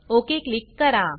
okay click करा